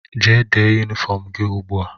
Gaa dee yunifọm gị ugbu a!